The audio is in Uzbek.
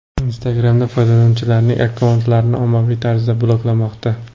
Instagram’da foydalanuvchilarning akkauntlari ommaviy tarzda bloklanmoqda.